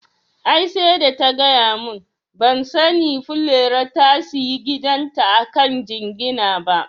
Ai sai da ta gaya mun, ban sani Furera ta sayi gidan ta akan jingina ba